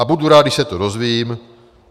A budu rád, když se to dozvím.